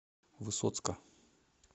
высоцка